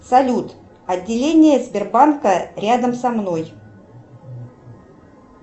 салют отделение сбербанка рядом со мной